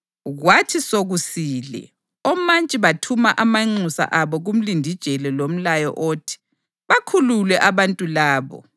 Kwathi sokusile, omantshi bathuma amanxusa abo kumlindijele lomlayo othi: “Bakhulule abantu labo.”